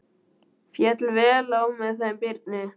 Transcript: Féll vel á með þeim Birni.